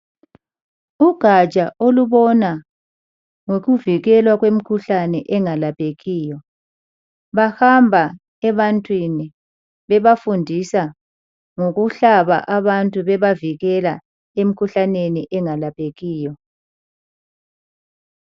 Ugatsha olubona ngokuvikelwa kwemikhuhlane engalaphekiyo. Bahamba ebantwini bebafundisa ngokuhlaba abantu bebavikela emikhuhlaneni engalaphekiyo.